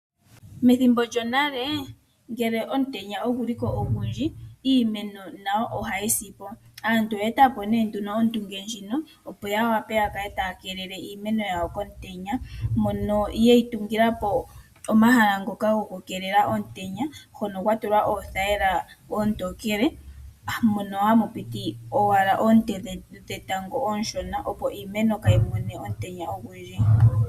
Methimbo lyonale ngele omutenya oguli ko ogundji iimeno nayo ohayi sipo. Aantu oye etapo ondunge ndjino, opo ya wape ya kale taya keelela iimeno yawo komutenya. Mono yeyi tungilapo omahala gokukeelela iimeno komutenya hono kwatulwa oothayila oontokele mono hamu piti owala oonte dhetango ooshona, opo iimeno kayi mone omutenya ogundji.